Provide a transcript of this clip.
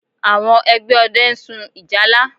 Àwọn ẹgbẹ́ ọdẹ ń sun ìjálá